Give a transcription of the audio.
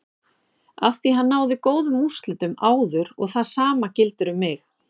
Afþví hann náði góðum úrslitum áður og það sama gildir um mig.